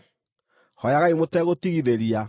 hooyagai mũtegũtigithĩria;